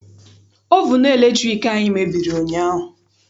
Ovunu latriki anyị mebiri ụnyaahụ.